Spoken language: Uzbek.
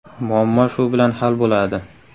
Muammo shu bilan hal bo‘ladi.